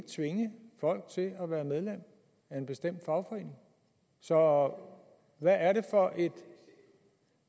tvinge folk til at være medlem af en bestemt fagforening så hvad